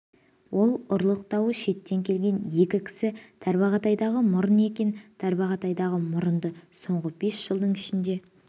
ол ұрлық дауы шеттен келген екі кісі тарбағатайдағы мұрын екен тарбағатайдағы мұрынды соңғы бес жылдың ішінде